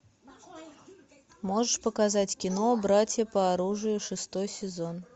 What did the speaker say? можешь показать кино братья по оружию шестой сезон